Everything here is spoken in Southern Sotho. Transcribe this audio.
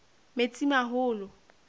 metsimaholo